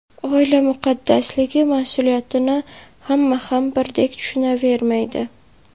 Oila muqaddasligi mas’uliyatini hamma ham birdek tushunavermaydi.